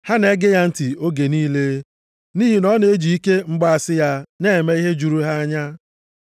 Ha na-ege ya ntị oge niile nʼihi na ọ na-eji ike mgbaasị ya na-eme ihe juru ha anya.